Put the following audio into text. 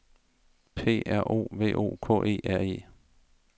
P R O V O K E R E